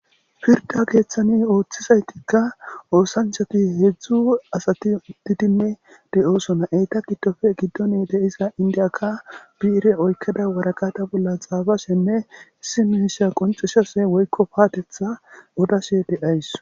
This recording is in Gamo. Pirda keeththani ooththizaytikka oosanchati heedzdzu asati uttidinne de7oosona. Eta giddoppe giddone de7iza inddiyaka biire oykkeda waraqata bolla xaafashenne issi miisha qoncisashe woykko paatetha odashe de7ays